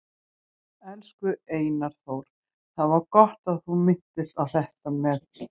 Elsku Einar Þór, það var gott að þú minntist á þetta með